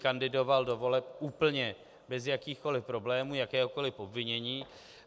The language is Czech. Kandidoval do voleb úplně bez jakýchkoli problémů, jakéhokoli obvinění.